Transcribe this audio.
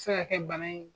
Se ka kɛ bana in ye